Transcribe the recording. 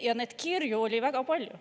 Ja neid kirju oli väga palju.